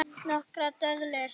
Nokkrar döðlur